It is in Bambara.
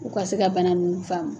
U ka se ka bana nunnu faamu